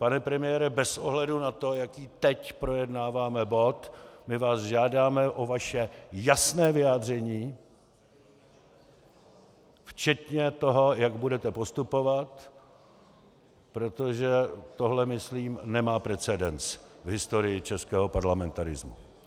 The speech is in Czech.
Pane premiére, bez ohledu na to, jaký teď projednáváme bod, my vás žádáme o vaše jasné vyjádření včetně toho, jak budete postupovat, protože tohle myslím nemá precedens v historii českého parlamentarismu.